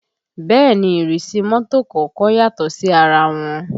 Bẹ́ẹ̀ ni ìrísí mọ́tò kọ̀ọ̀kan yàtọ̀ sí ara wọn